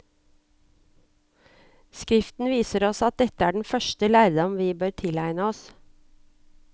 Skriften viser oss at dette er den første lærdom vi bør tilegne oss.